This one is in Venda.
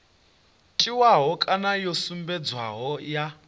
tiwaho kana yo sumbedzwaho ya